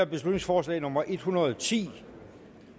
beslutningsforslag nummer b en hundrede og ti